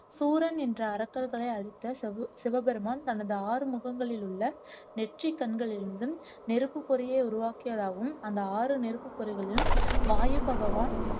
சூரன் என்ற அரக்கர்களை அழித்த சிவ சிவபெருமான் தனது ஆறு முகங்களில் உள்ள நெற்றிக்கண்களில் இருந்தும் நெருப்புப் பொறியை உருவாக்கியதாகவும் அந்த ஆறு நெருப்புப் பொறிகளையும் வாயு பகவான்